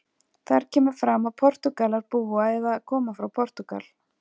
Þar kemur fram að Portúgalar búa eða koma frá Portúgal.